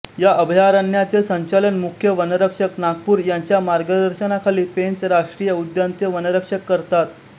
या अभयारण्याचे संचालन मुख्य वनसंरक्षक नागपूर यांच्या मार्गदर्शनाखाली पेंच राष्ट्रीय उद्यान चे वनसंरक्षक करतात